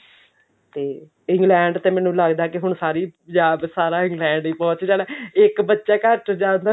ਤੇ England ਤੇ ਮੈਨੂੰ ਲੱਗਦਾ ਕੀ ਹੁਣ ਸਾਰੀ ਪੰਜਾਬ ਸਾਰਾ England ਪਹੁੰਚ ਜਾਣਾ ਇੱਕ ਬੱਚਾ ਘਰ ਚੋਂ ਜਾਂਦਾ